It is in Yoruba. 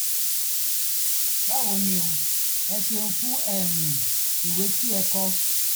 báwo ni o? ẹ ṣeun fún um ìwé tí ẹ kọ